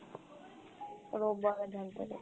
রোববারে Dhanteras.